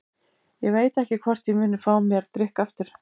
Ég veit ekki hvort ég muni fá mér drykk aftur.